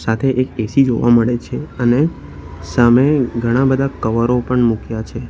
સાથે એક એ_સી જોવા મળે છે અને સામે ઘણા બધા કવરો પણ મૂક્યા છે.